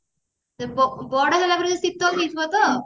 ସେ ପୁଅ ବଡ ହେଲାପରେ ଯୋଉ ଶୀତଲ ହେଇଯିବ ତ